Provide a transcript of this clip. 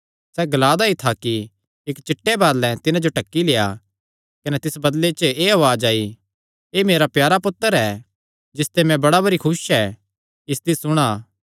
सैह़ ग्ला दा ई था कि इक्क चिट्टे बदल़ैं तिन्हां जो ढक्की लेआ कने तिस बदल़े च एह़ उआज़ आई एह़ मेरा प्यारा पुत्तर ऐ जिसते मैं बड़ा भरी खुस ऐ इसदी सुणा